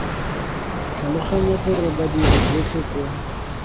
tlhaloganya gore badiri botlhe kwa